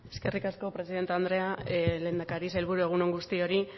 eskerrik asko presidente andrea lehendakari sailburu egun on guztioi